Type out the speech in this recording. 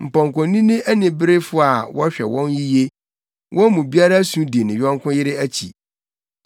Mpɔnkɔnini aniberefo a wɔhwɛ wɔn yiye, wɔn mu biara su di ne yɔnko yere akyi.